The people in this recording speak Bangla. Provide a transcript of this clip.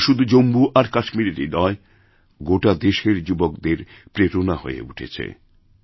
আজ সে শুধু জম্মু আর কাশ্মীরেরই নয় বরং গোটাদেশের যুবকদের প্রেরণ আহয়ে উঠেছে